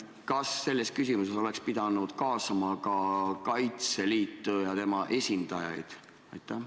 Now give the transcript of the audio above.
Kas selle küsimuse arutellu oleks pidanud kaasama ka Kaitseliidu ja tema esindajad?